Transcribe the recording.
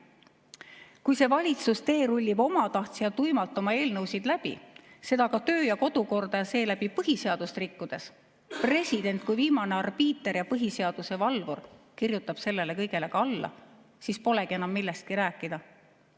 Kui valitsus teerullib omatahtsi ja tuimalt oma eelnõusid läbi, seda töö- ja kodukorda ning seeläbi ka põhiseadust rikkudes, ning president kui viimane arbiiter ja põhiseaduse valvur kirjutab sellele kõigele ka alla, siis polegi enam millestki rääkida.